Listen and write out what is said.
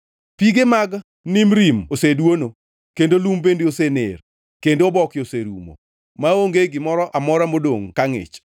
Pige mag Nimrim oseduono, kendo lum bende osener, kendo oboke orumo, maonge gimoro amora modongʼ ka ngʼich.